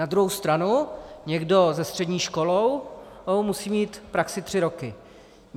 Na druhou stranu někdo se střední školou musí mít praxi tři roky.